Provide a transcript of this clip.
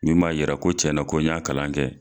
Min b'a yɛrɛ ko cɛn na ko n y'a kalan kɛ.